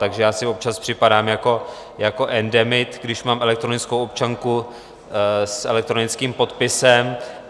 Takže já si občas připadám jako endemit, když mám elektronickou občanku s elektronickým podpisem.